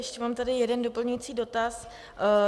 Ještě mám tady jeden doplňující dotaz.